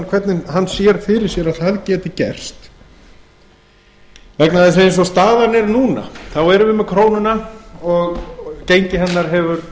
hvernig hann sér fyrir sér að það geti gerst vegna þess að eins og staðan er núna þá erum við með krónuna og gengi hennar hefur